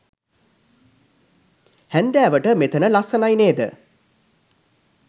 හැන්දෑවට මෙතන ලස්සනයි නේද